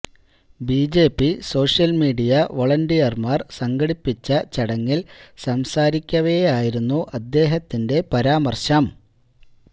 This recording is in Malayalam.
ബിജെപി സോഷ്യല് മീഡിയ വോളന്റിയര്മാര് സംഘടിപ്പിച്ച ചടങ്ങില് സംസാരിക്കവെയായിരുന്നു അദ്ദേഹത്തിന്റെ പരാമര്ശം